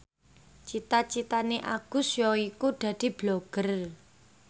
cita citane Agus yaiku dadi Blogger